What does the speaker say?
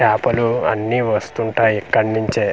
చాపలు అన్ని వస్తుంటాయి ఇక్కడి నుంచే.